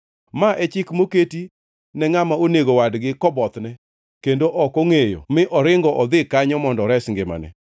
Ma e chik moketi ne ngʼama onego wadgi kobothne kendo ok ongʼeyo mi oringo odhi kanyo mondo ores ngimane.